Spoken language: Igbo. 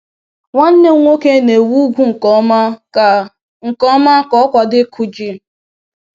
Nwanne m nwoke na-ewu ugwu nke ọma ka nke ọma ka ọ kwado ịkụ ji.